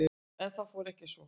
En það fór ekki svo.